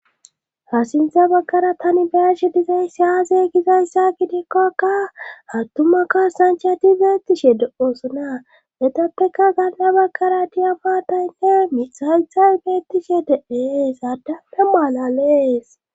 ha sintha baggara tani be'ashe dizayssi aaze gizayssa gidikkokka attumakkasanchati beettishe de7oosona etappeka gaanna baggara diyafataynne mithhaythay beettishe de7es adante mala lees